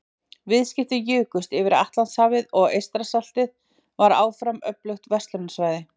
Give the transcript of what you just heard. Viðskipti jukust yfir Atlantshafið og Eystrasaltið var áfram öflugt verslunarsvæði.